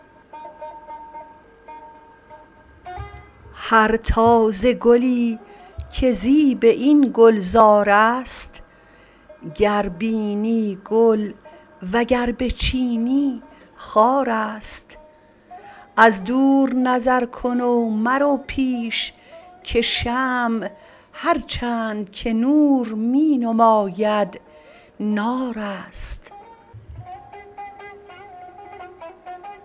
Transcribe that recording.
هر تازه گلی که زیب این گلزار است گر بینی گل و گر بچینی خار است از دور نظر کن و مرو پیش که شمع هر چند که نور می نماید نار است